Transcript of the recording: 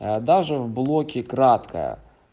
а даже в блоке кратко